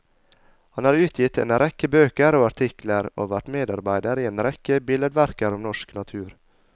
Han har utgitt en rekke bøker og artikler, og vært medarbeider i en rekke billedverker om norsk natur.